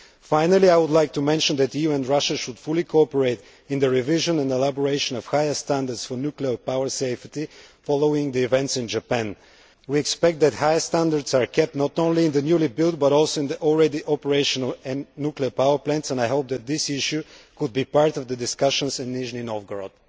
Finally, I would like to mention that the EU and Russia should fully cooperate in the revision and elaboration of higher standards for nuclear power safety, following the events in Japan. We expect that higher standards are kept, not only in the newly built, but also in the already operational, nuclear power plants. I hope that this issue can be part of the discussions in Nizhny Novgorod.